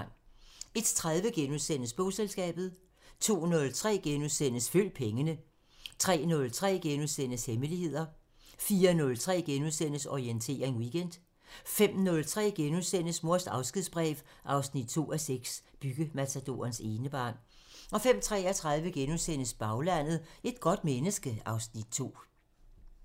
01:30: Bogselskabet * 02:03: Følg pengene * 03:03: Hemmeligheder * 04:03: Orientering Weekend * 05:03: Mors afskedsbrev 2:6 – Byggematadorens enebarn * 05:33: Baglandet: Et godt menneske (Afs. 2)*